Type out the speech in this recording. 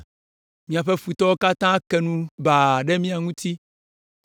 “Míaƒe futɔwo katã ke nu baa ɖe mía ŋuti.